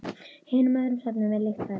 Hinum öðrum söfnum er líkt farið.